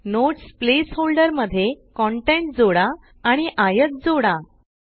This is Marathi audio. नोट्स प्लेस होल्डर मध्ये कंटेंट जोडा आणि आयत जोडा